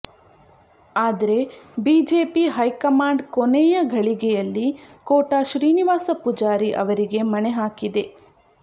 ಆದ್ರೆ BJP high command ಕೊನೆಯ ಘಳಿಗೆಯಲ್ಲಿ ಕೋಟ ಶ್ರೀನಿವಾಸ ಪೂಜಾರಿ ಅವರಿಗೆ ಮಣೆ ಹಾಕಿದೆ